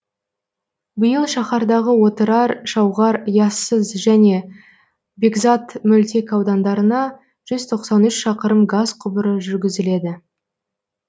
биыл шаһардағы отырар шауғар яссы және бекзат мөлтек аудандарына жүз тоқсан үш шақырым газ құбыры жүргізіледі